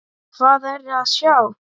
Hvað er að sjá